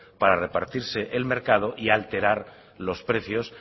para repartirse el mercado y alterar los precios